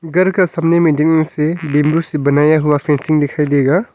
घर का सामने मे डंडे से बंबू से हुआ फेंसिंग दिखाई देगा।